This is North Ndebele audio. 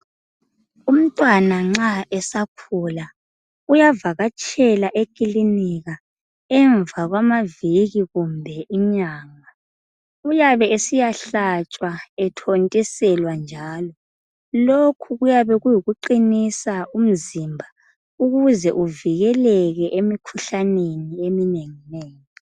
Umntwana nxa esakhula, uyavakatshela ekilinika emva kwamaviki kumbe inyanga. Uyabe esiyahlatshwa, ethontiselwa njalo. Lokhu kuyabe kuyikuqinisa umzimba ukuze uvikeleke emikhuhlaneni eminenginengi.